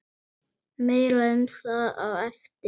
Meira um það á eftir.